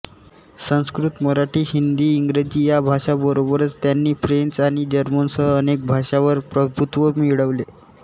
संस्कृत मराठी हिंदी इंग्रजी या भाषांबरोबरच त्यांनी फ्रेंच आणि जर्मनसह अनेक भाषांवर प्रभुत्व मिळवले